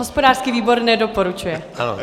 Hospodářský výbor nedoporučuje.